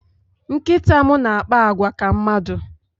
Nkịta m na-akpa àgwà ka mmadụ